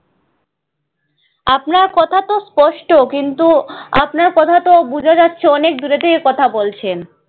আপনার কথা তো স্পষ্ট কিন্তু আপনার কথা তো বোঝা যাচ্ছে অনেক দূরে থেকে কথা বলছেন।